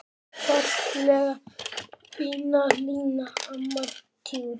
Fallega fína Lína, amma tjútt.